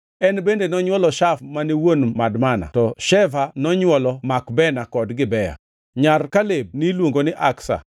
En bende nonywolo Shaf mane wuon Madmana to Sheva nonywolo Makbena kod Gibea. Nyar Kaleb niluongo ni Aksa.